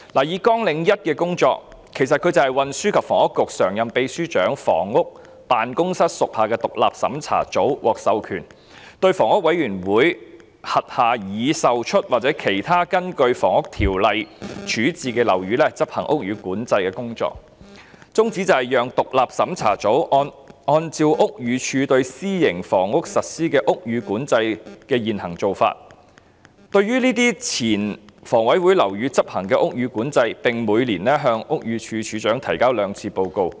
以綱領1的工作為例，其實是指運輸及房屋局常任秘書長辦公室屬下的獨立審查組，該組獲授權力對房委會轄下已售出或其他根據《房屋條例》處置的樓宇執行屋宇管制工作，宗旨是讓獨立審查組按照屋宇署對私營房屋實施屋宇管制的現行做法，對這些前房委會樓宇執行屋宇管制，並每年向屋宇署署長提交報告兩次。